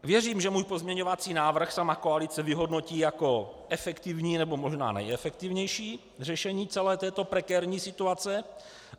Věřím, že můj pozměňovací návrh sama koalice vyhodnotí jako efektivní, nebo možná nejefektivnější řešení celé této prekérní situace.